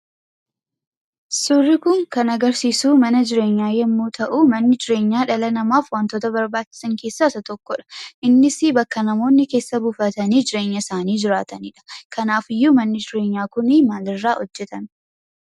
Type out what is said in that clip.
Suurri kun kan agarsiisuu mana jireenyaa yemmuu ta'uu, manni jireenyaa dhala namaaf wantoota barbaachisan keessaa isa tokkodha. Innisi bakka namoonni keessa buufatanii jireenya isaanii jiraatanidha. Kanaafiyyuu manni jireenyaa kunii maalirraa hojjatame?